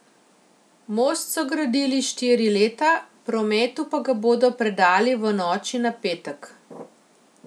Most so gradili štiri leta, prometu pa ga bodo predali v noči na petek.